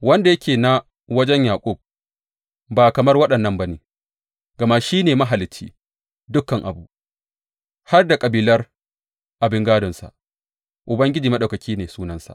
Wanda yake na wajen Yaƙub ba kamar waɗannan ba ne, gama shi ne Mahalicci dukan abu, har da kabilar abin gādonsa, Ubangiji Maɗaukaki ne sunansa.